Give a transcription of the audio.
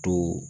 To